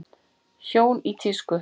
Hjón í tísku